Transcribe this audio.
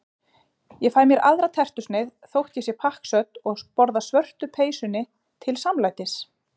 Ég fæ mér aðra tertusneið þótt ég sé pakksödd og borða svörtu peysunni til samlætis.